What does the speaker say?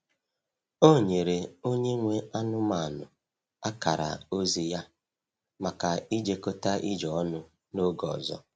Ọ nyere onye nwe anụmanụ akara ozi ya maka ijekọta ije ọnụ n’oge ọzọ.